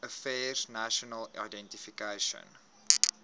affairs national identification